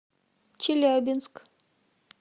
челябинск